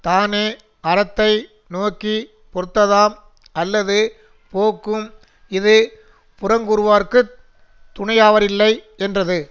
தானே அறத்தை நோக்கி பொறுத்ததாம் அல்லது போக்கும் இது புறங்கூறுவார்க்குத் துணையாவாரில்லை யென்றது